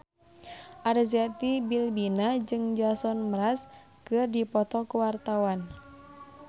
Arzetti Bilbina jeung Jason Mraz keur dipoto ku wartawan